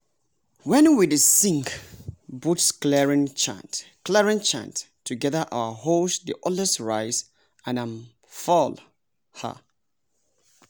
wen we dey sing bush clearing chant clearing chant together our hoes dey always rise and um fall. um